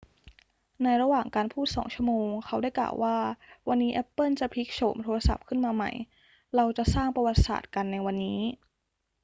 ในระหว่างการพูด 2 ชั่วโมง เขาได้กล่าวว่า วันนี้แอปเปิลจะพลิกโฉมโทรศัพท์ขึ้นมาใหม่ เราจะสร้างประวัติศาสตร์กันในวันนี้